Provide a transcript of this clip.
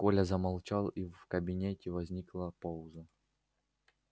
коля замолчал и в кабинете возникла пауза